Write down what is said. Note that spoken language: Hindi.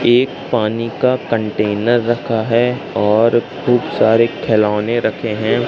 एक पानी का कंटेनर रखा है और खूब सारे खेलौने रखे हैं।